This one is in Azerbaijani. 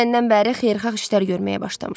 Dünəndən bəri xeyirxah işlər görməyə başlamışam.